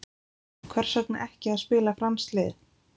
Hvers vegna ekki að spila franskt lið?